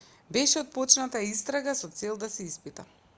беше отпочната истрага со цел да се испита